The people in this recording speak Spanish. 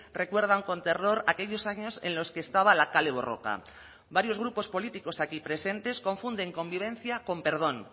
recuerdan con terror aquellos años en los que estaba a la kale borroka varios grupos políticos aquí presentes confunden convivencia con perdón